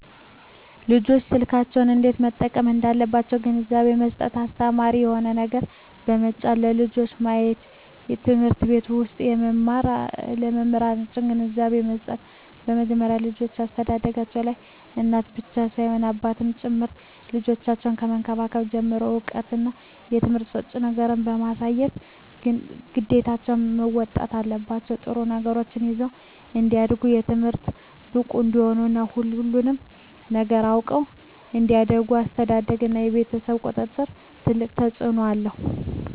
ልጆች ስልኮችን እንዴት መጠቀም እንዳለባቸዉ ግንዛቤ መስጠት አስተማሪ የሆኑ ነገሮችን በመጫን ለልጆች ማሳየትበትምህርት ቤት ዉስጥ በመምህራን ግንዛቤ መስጠት ከመጀመሪያዉ የልጆች አስተዳደግላይ እናት ብቻ ሳትሆን አባትም ጭምር ልጆችን ከመንከባከብ ጀምሮ እዉቀትና ትምህርት ሰጭ ነገሮችን በማሳየት ግዴታቸዉን መወጣት አለባቸዉ ጥሩ ነገሮችን ይዘዉ እንዲያድጉ በትምህርታቸዉ ብቁ እንዲሆኑ እና ሁሉንም ነገር አዉቀዉ እንዲያድጉ አስተዳደርግ እና የቤተሰብ ቁጥጥር ትልቅ አስተዋፅኦ አለዉ